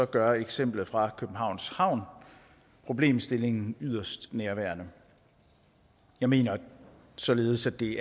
gør eksemplet fra københavns havn problemstillingen yderst nærværende jeg mener således at det